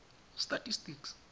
statistics